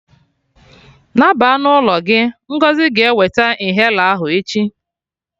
Naba na ụlọ gị! Ngọzi ga-eweta inhaler ahụ echi